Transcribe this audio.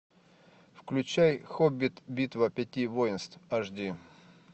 включай хоббит битва пяти воинств аш ди